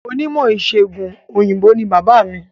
Onímọ̀ ìsègùn òyìnbó ni bàbáà mi.